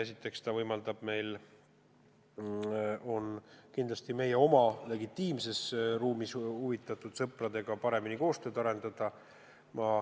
Esiteks see võimaldab meil kindlasti oma legitiimses ruumis huvitatud sõpradega paremini koostööd arendada.